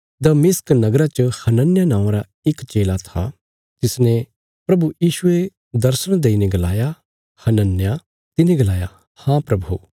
दमिश्क नगरा च हनन्याह नौआं रा इक चेला था तिसने प्रभु यीशुये दर्शण देईने गलाया हनन्याह तिने गलाया हाँ प्रभु